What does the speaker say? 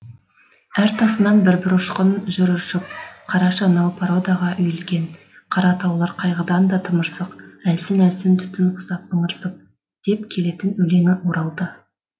әр тасынан бір бір ұшқын жүр ыршып қарашы анау породаға үйілген қара таулар қайғыдан да тымырсық әлсін әлсін түтін құсап ыңырсып деп келетін өлеңі оралды